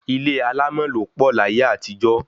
Ilé alámọ̀ ló pọ̀ láyé àtijọ́